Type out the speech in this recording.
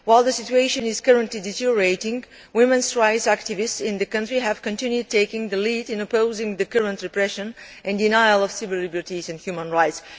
While the situation is currently deteriorating, women's rights activists in the country have continued taking the lead in opposing the current repression and denial of civil liberties and human rights.